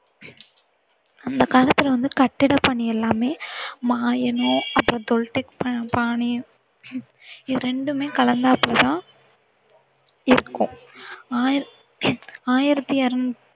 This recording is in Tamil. அந்த காலத்துல வந்து கட்டட பணி எல்லாமே மாயனோ அப்பறம் தொல்ட்டெக் பா~பாணியோ, இது இரண்டுமே கலந்தாப்புல தான் இருக்கும். ஆயிர~ ஆயிரத்தி அறுநூத்தி